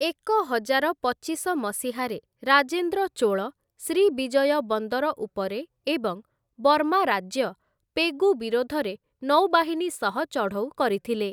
ଏକହଜାର ପଚିଶ ମସିହାରେ ରାଜେନ୍ଦ୍ର ଚୋଳ ଶ୍ରୀବିଜୟ ବନ୍ଦର ଉପରେ ଏବଂ ବର୍ମା ରାଜ୍ୟ, ପେଗୁ ବିରୋଧରେ ନୌବାହିନୀ ସହ ଚଢ଼ଉ କରିଥିଲେ ।